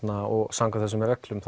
samkvæmt þessum reglum